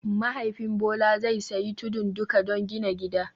Mahaifin Bola zai sayi tudun duka don gina gida